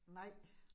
Nej